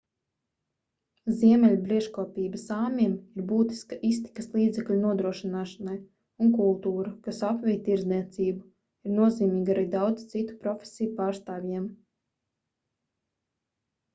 ziemeļbriežkopība sāmiem ir būtiska iztikas līdzekļu nodrošināšanai un kultūra kas apvij tirdzniecību ir nozīmīga arī daudzu citu profesiju pārstāvjiem